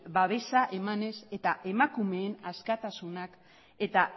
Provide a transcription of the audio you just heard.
babesa emanez eta emakumeen askatasunak eta